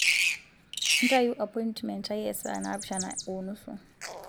ntayu apointmen aai ee saa naapishana o nusu